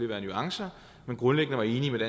være nuancer som grundlæggende var enige med